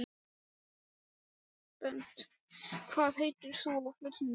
Bent, hvað heitir þú fullu nafni?